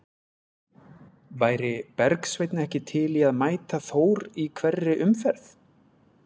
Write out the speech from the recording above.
Væri Bergsveinn ekki til í að mæta Þór í hverri umferð?